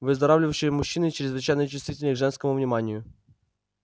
выздоравливающие мужчины чрезвычайно чувствительны к женскому вниманию